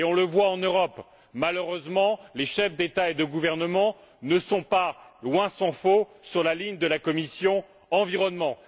On le voit en Europe malheureusement, les chefs d'État et de gouvernement ne sont pas, loin s'en faut, sur la ligne de la commission de l'environnement.